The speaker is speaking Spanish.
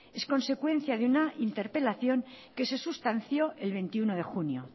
es consecuencia de una interpelación que se sustanció el veintiuno de junio